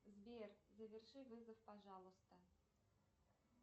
сбер заверши вызов пожалуйста